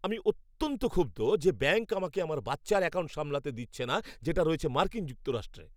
আমি অত্যন্ত ক্ষুব্ধ যে ব্যাংক আমাকে আমার বাচ্চার অ্যাকাউন্ট সামলাতে দিচ্ছে না যেটা রয়েছে মার্কিন যুক্তরাষ্ট্রে।